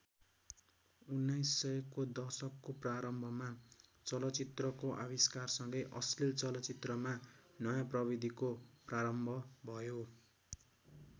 १९०० को दशकको प्रारम्भमा चलचित्रको आविष्कारसँगै अश्लील चलचित्रमा नयाँ प्रविधिको प्रारम्भ भयो।